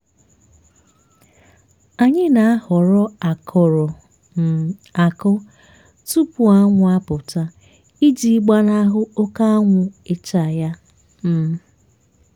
anyị na-ahọrọ akụrụ um akụ tupu anwụ apụta iji gbanahụ oké anwụ ịcha ya. um